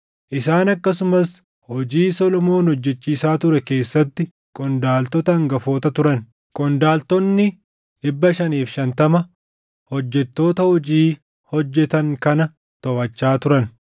Isaan akkasumas hojii Solomoon hojjechiisaa ture keessatti qondaaltota hangafoota turan; qondaaltonni 550 hojjettoota hojii hojjetan kana toʼachaa turan.